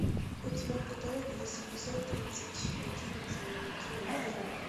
у тебя в каталоге есть эпизод тридцать один дневники вампира